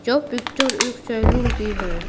यह पिक्चर एक सैलून की है।